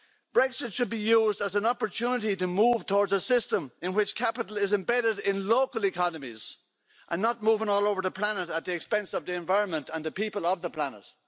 Brexit should be used as an opportunity to move towards a system in which capital is embedded in local economies, and not moving all over the planet at the expense of the environment and the people of the planet.